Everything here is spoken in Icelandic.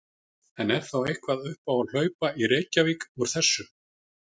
En er þá eitthvað upp á að hlaupa í Reykjavík úr þessu?